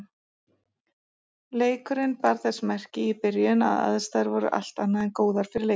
Leikurinn bar þess merki í byrjun að aðstæður voru allt annað en góðar fyrir leikmenn.